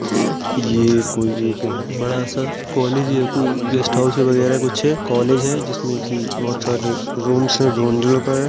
ये कोई एक बड़ा सा कॉलेज या कोई गेस्ट हाउस वगैरह कुछ है कॉलेज जिसमें कि बहुत सारे रूम है का है।